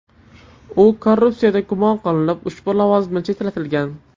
U korrupsiyada gumon qilinib, ushbu lavozimdan chetlatilgan .